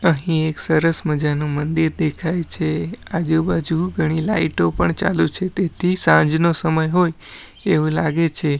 અહીં એક સરસ મજાનું મંદિર દેખાય છે આજુબાજુ ઘણી લાઈટો પણ ચાલુ છે તેથી સાંજનો સમય હોય એવું લાગે છે.